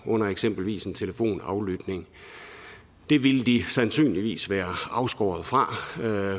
under eksempelvis en telefonaflytning det ville de sandsynligvis være afskåret fra